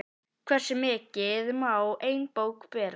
Hversu mikið má ein bók bera?